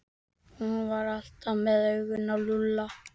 Hún var alltaf með augun á Lúlla.